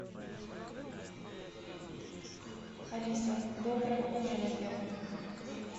алиса доброе утро на первом